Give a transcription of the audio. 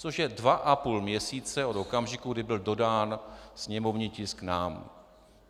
Což je dva a půl měsíce od okamžiku, kdy byl dodán sněmovní tisk nám.